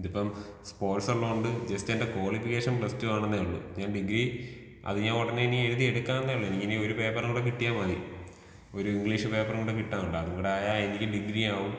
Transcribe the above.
ഇതിപ്പം സ്പോർട്സുള്ളതോണ്ട് ജെസ്റ്റെന്റെ കോളിഫിക്കേഷൻ പ്ലസ്ടുവാണെന്നെ ഉള്ളു ഞാന്‍ ഡിഗ്രി അത് ഞാൻ ഒടനെ എഴുത്യെടുക്കാവന്നേ ഉള്ളു എനിക്കിനി ഒരു പേപ്പറോടെ കിട്ട്യാ മതി. ഒരു ഇഗ്ലീഷ് പേപ്പറും കുടെ കിട്ടാനുണ്ട് അതും കുടെ ആയാൽ എനിക്ക് ഡിഗ്രീയാകും